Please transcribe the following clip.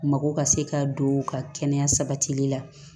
Mako ka se ka don u ka kɛnɛya sabatili la